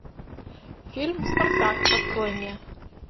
фильм спартак открой мне